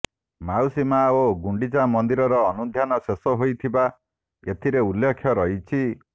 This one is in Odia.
ମାଉସୀମା ଓ ଗୁଣ୍ଡିଚା ମନ୍ଦିରର ଅନୁଧ୍ୟାନ ଶେଷ ହୋଇଥିବା ଏଥିରେ ଉଲ୍ଲେଖ ରହିଛି